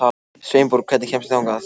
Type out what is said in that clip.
Sveinborg, hvernig kemst ég þangað?